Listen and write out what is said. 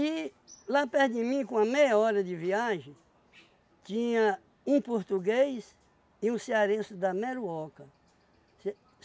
E lá perto de mim, com uma meia hora de viagem, tinha um português e um cearense da Meruoca. Ce